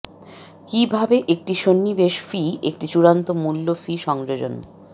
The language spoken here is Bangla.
কিভাবে একটি সন্নিবেশ ফি একটি চূড়ান্ত মূল্য ফি সংযোজন